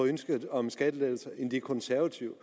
i ønsket om skattelettelser end de konservative